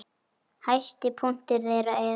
Hæsti punktur þeirra er